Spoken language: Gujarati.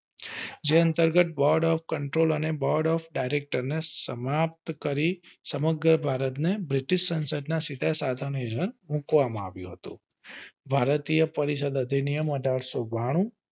જે અંતર્ગત board of control and board of director ને સમાપ્ત કરી સમગ્ર ભારત ને બ્રિટીશ સંસદ ના સીધે સભા માં મુકવામાં આવ્યું હતું. ભારતીય પરિષદ અધિનિયમ અઢારસો બાણું